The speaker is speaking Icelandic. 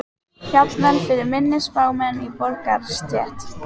Jafnvel fyrir minni spámenn í borgarastétt.